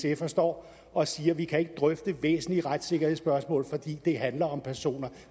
en sfer står og siger at vi ikke kan drøfte væsentlige retssikkerhedspørgsmål fordi det handler om personer